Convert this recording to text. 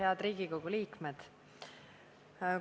Head Riigikogu liikmed!